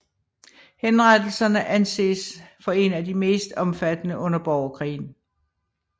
Henrettelserne anses for en af de mest omfattende under borgerkrigen